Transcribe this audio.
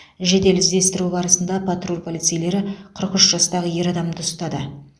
жедел іздестіру барысында патруль полицейлері қырық үш жастағы ер адамды ұстады